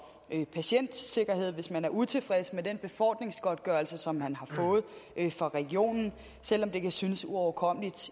patientsikkerhed hvis man er utilfreds med den befordringsgodtgørelse som man har fået fra regionen selv om det kan synes uoverkommeligt